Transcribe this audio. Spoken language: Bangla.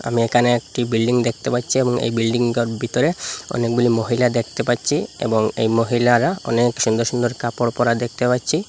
আমি একানে একটি বিল্ডিং দেখতে পাচ্চি এবং এই বিল্ডিংটার ভিতরে অনেকগুলি মহিলা দেখতে পাচ্চি এবং এই মহিলারা অনেক সুন্দর সুন্দর কাপড় পরা দেখতে পাচ্চি।